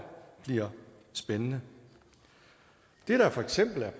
bliver spændende det der for eksempel